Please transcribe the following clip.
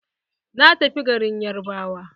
Na tafi garin yarbawa.